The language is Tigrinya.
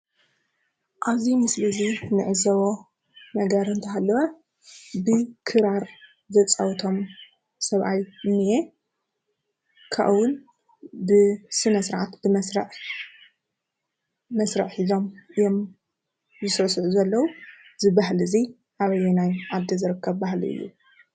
ኣብ እዚ ምስሊ እዚ እንዕዘቦ ነገር እንተሃለወ ክራር ዘፃውቶም ሰብኣይ እንአ፡፡ ካብኡ እውን ስነስርዓት ብመስርዕ መስርዕ ሒዞም እዮም ይስዕስዑ ዘለዉ፡፡ እዚ ባህሊ እዚ ኣበየናይ ዓዲ ዝርከብ ባህሊ እዩ?